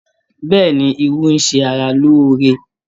Bẹ́ẹ̀ni, irú ń ṣe ara lóore.